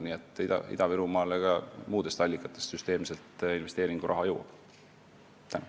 Nii et Ida-Virumaale jõuab süsteemselt investeeringuraha ka muudest allikatest.